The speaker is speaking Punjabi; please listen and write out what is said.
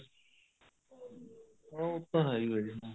ਉਹ ਤਾਂ ਹੈ ਹੀ ਏ ਜੀ